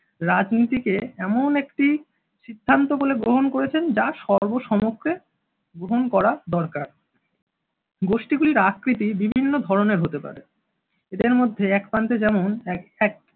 রাজনীতিকে এমন একটি সিদ্ধান্ত বলে গ্রহণ করেছেন, যা সর্বসমক্ষে গ্রহণ করা দরকার। গোষ্ঠীগুলির আকৃতি বিভিন্ন ধরনের হতে পারে। এদের মধ্যে এক প্রান্তে যেমন এক এক